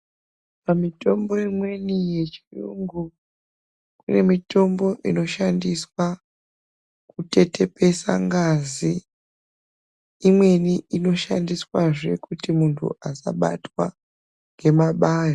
Pamitombo imweni yechiyungu, kune mitombo inoshandiswa kutetepesa ngazi, imweni inoshandiswazve kuti munthu asabatwa ngemabayo.